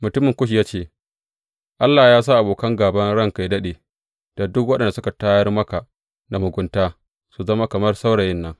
Mutumin Kush ya ce, Allah yă sa abokan gāban ranka yă daɗe, da duk waɗanda suka tayar maka da mugunta, su zama kamar saurayin nan.